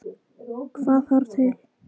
Hvað þarf til?